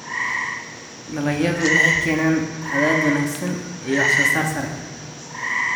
dalagyadu waxay keenaan qadhaadh wanaagsan iyo waxsoosaar sare.